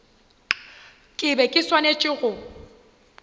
ke be ke swanetše go